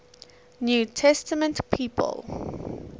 new testament people